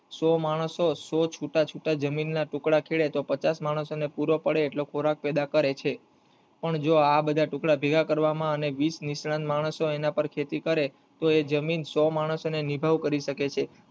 સો માણસો સો છુટા છુટા જમીન ના ટુકડા ખેડે તો પચાસ માણસો ને પૂરો પડે એટલો ખોરાક પેદા કરે છે અને જો આ બધા ટુકડા ભેગા કરવા માં અને વિશ નિષ્ણાંત માણસો તેના પર ખેતી કરે તો એ જમીન સો માણસો ને નિભાવ કરી શકે છે.